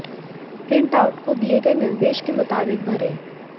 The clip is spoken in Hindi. प्रिंट आउट को दिए गए निर्देश के मुताबिक भरें